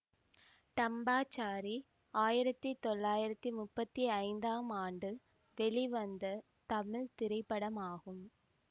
டம்பாச்சாரி ஆயிரத்தி தொள்ளாயிரத்தி முப்பத்தி ஐந்தாம் ஆண்டு வெளிவந்த தமிழ் திரைப்படமாகும்